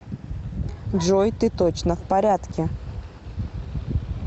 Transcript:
джой ты точно в порядке